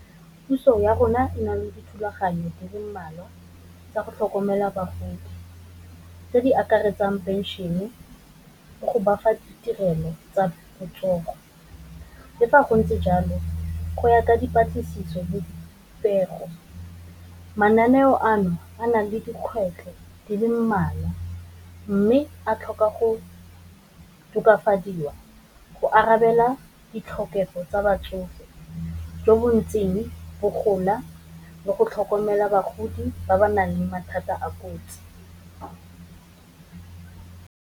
Puso ya rona e na le dithulaganyo di le mmalwa tsa go tlhokomela bagodi, tse di akaretsang phenšene, le go bafa ditirelo tsa botsogo, es le fa go ntse jalo go ya ka dipatlisiso popego mananeo ano a na le dikgwetlho di le mmalwa, mme a tlhoka go tokafadiwa go arabela ditlhokego tsa batsofe, jo bo ntseng bo gola le go tlhokomela bagodi ba ba nang le mathata a kotsi.